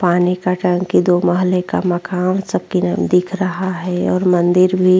पानी का टंकी दो माहले का मकान सबकी न दिख रहा है और मंदिर भी --